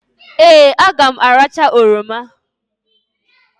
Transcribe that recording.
Ee! A ga m aracha oroma.